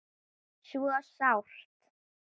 Svo sárt.